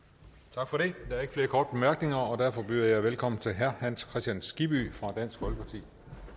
tak for det der er ikke flere korte bemærkninger og derfor byder jeg velkommen til herre hans kristian skibby fra dansk folkeparti